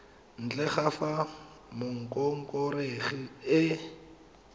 ntle ga fa mongongoregi e